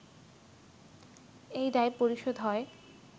এই দায় পরিশোধ হয়